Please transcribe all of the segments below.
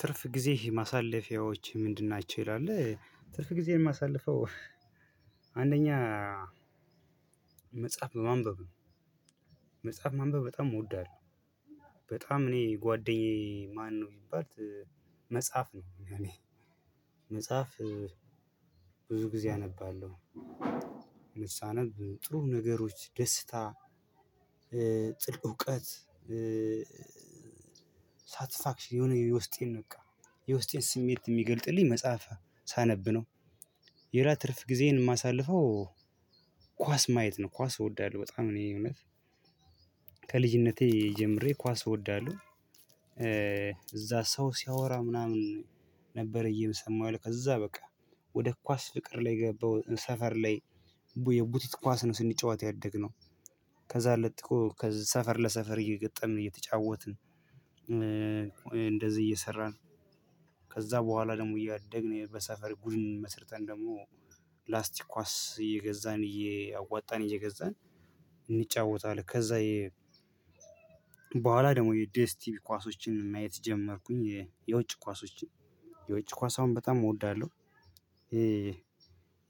ትርፍ ጊዜ ማሳለፊያዎች ምንድን? ናቸው ይላል ትርፍ ጊዜን ማሳልፈው። አንደኛ መጽሐፍ በማንበብ ነው። መጽሐፍ ማንበብ በጣም እወዳለሁ። በጣም እኔ ጓደኛዬ ማነው ቢባል? መጽሐፍ ነው ለኔ። መጽሐፍ ብዙ ጊዜ አነባለሁ። ልሳነብ ጥሩ ነገሮች ደስታ እውቀት ሳትስፋክሽን የሆነ የውስጤን በቃ የውስጤን ስሜት የሚገልጥልኝ መጽሐፍ ሳነብ ነው። ሌላ ትርፍ ጊዜን የማሳልፈው ኳስ ማየት ነው። ኳስ እወዳለሁ በጣም እኔ እውነት ከልጅነቴ ጀምሬ ኳስ እወዳለሁ። እዛ ሰው ሲያወራ ምናምን ነበር እየሰማሁ ከዛ በቃ ወደ ኳስ ፍቅር ላይ ገባሁ ሰፈር ላይ። የቡቲት ኳስ ነው ስንጫወት ያደግነው። ከዛ ለጥቆ ከዛ ሰፈር ለሰፈር እየገጠምን እየተጫወትን እንደዚህ እየሰራን። ከዛ በኋላ ደግሞ እያደግን በሰፈር ቡድን መስርተን ደግሞ ፕላስቲክ ኳስ እየገዛን እያዋጣን እየገዛን እንጫወታለን። ከዛ በኋላ ደግሞ የዲኤስቲቪ ኳሶችን ማየት ጀመርኩኝ የውጭ ኳሶችን። የውጭ ኳስ አሁን በጣም እወዳለሁ። ይሄ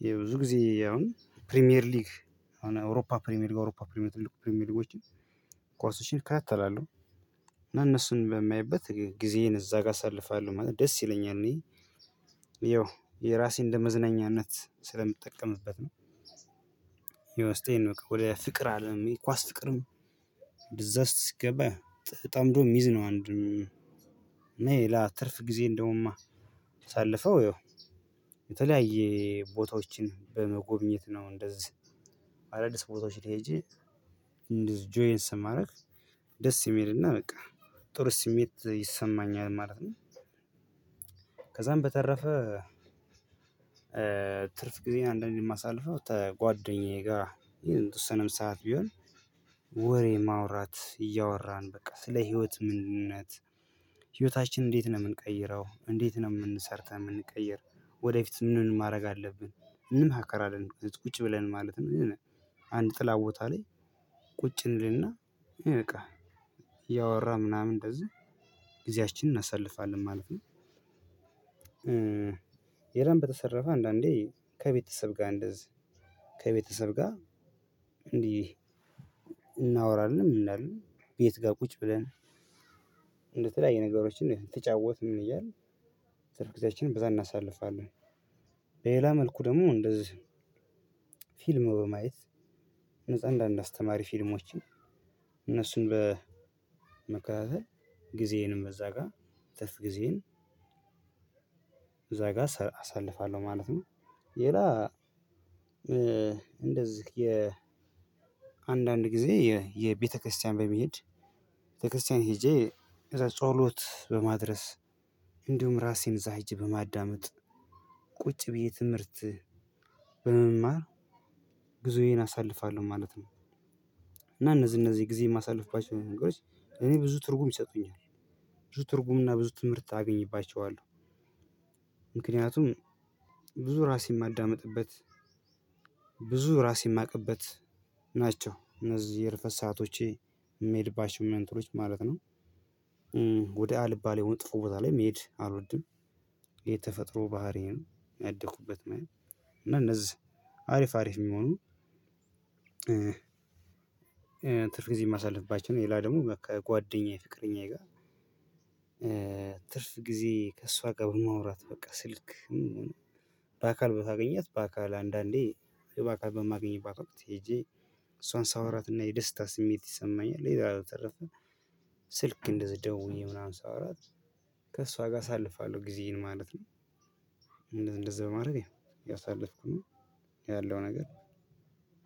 የብዙ ጊዜ አሁን ፕሪሚየር ሊግ አሁን አውሮፓ ፕሪሚየር ሊግ አውሮፓ ፕሪሚየር ትልቁ ፕሪሚየር ሊጎችን ኳሶችን እከታተላለሁ። እነሱን በማይበት ጊዜዬን እዛ ጋር አሳልፋለሁ ማለት ነው። ደስ ይለኛል እኔ ያው የራሴን እንደ መዝናኛነት ስለምጠቀምበት ነው። የውስጤን ነው ወደ ፍቅር አለም ኳስ ፍቅርም ብዛት ሲገባ ጠምዶ ሚዝ ነው አንዱም እና ሌላ ትርፍ ጊዜ የለውማ። ተሳልፈው ያው የተለያየ ቦታዎችን በመጎብኘት ነው። እንደዚህ አዳዲስ ቦታዎች ሄጄ ጆይን ስለ ማረግ ደስ የሚልና በቃ ጥሩ ስሜት ይሰማኛል ማለት ነው። ከዛም በተረፈ ትርፍ ጊዜን አንዳንዴ የማሳልፈው ጓደኛዬ ጋር የተወሰነም ሰዓት ቢሆን። ወሬ ማውራት እያወራን በቃ ስለ ህይወት ምንነት። ህይወታችን እንዴት ነው የምንቀይረው እንዴት ነው የምን ሰርተን የምንቀየር። ወደፊት ምንድንነው ማድረግ አለብን እንማከራለን ቁጭ ብለን ማለት ነው። የሆነ አንድ ጥላ ቦታ ላይ ቁጭ እንልና በቃ እያወራን ምናምን እንደዚህ ጊዜያችንን እናሳልፋለን ማለት ነው። ሌላም በተረፈ አንዳንዴ ከቤተሰብ ጋር እንደዚህ ከቤተሰብ ጋር እንዲህ እናወራለን እንላለን ቤት ጋር ቁጭ ብለን እንደተለያየ ነገሮችን እየጫወትን ምን እያልን ትርፍ ጊዜያችንን በዛ እናሳልፋለን። በሌላ መልኩ ደግሞ እንደዚህ ፊልም በማየት ነፃ አንዳንድ አስተማሪ ፊልሞችን እነሱን በመከታተል ጊዜዬንም እዛ ጋር ትርፍ ጊዜዬን እዛ ጋር አሳልፋለሁ ማለት ነው። ሌላ እንደዚህ የአንዳንድ ጊዜ የቤተክርስቲያን በመሄድ ቤተክርስቲያን ሄጄ ከዛ ጸሎት በማድረስ እንዲሁም ራሴን እዛ ሄጄ በማዳመጥ ቁጭ ብዬ ትምህርት በመማር ጊዜዬን አሳልፋለሁ ማለት ነው። እና እነዚህ እነዚህ ጊዜ የማሳልፍባቸው ነገሮች ለኔ ብዙ ትርጉም ይሰጡኛል። ብዙ ትርጉም እና ብዙ ትምህርት አገኝባቸዋለሁ። ምክንያቱም ብዙ ራሴን ማዳመጥበት ብዙ ራሴ የማውቅበት ናቸው እነዚህ የእረፍት ሰአቶቼ የሚሄድ መንትሮች ማለት ነው። ወደ አልባ ላይ ወጥቶ ቦታ ላይ መሄድ አልወድም። የተፈጥሮ ባህሪ ነው ያደኩበት ማለት ነው። እና እነዚህ አሪፍ አሪፍ የሚሆኑ ትርፍ ጊዜ የማሳልፍባቸው ሌላ ደግሞ ከጓደኛዬ ፍቅረኛዬ ጋር። ትርፍ ጊዜ ከእሷ ጋር በማውራት በቃ ስልክ በአካል ካገኘሁአት በአካል አንዳንዴ በአካል በማግኝባት ወቅት ሄጄ እሷን ሳወራትና የደስታ ስሜት ይሰማኛል። የዛሬው ተረፈ ስልክ እንደዚህ ደውዬ ምናምን ሳወራ ከእሷ ጋር አሳልፋለሁ ጊዜዬን ማለት ነው። እንደዚህ እንደዚህ በማድረግ ያሳለፍኩ ነው ያለው ነገር።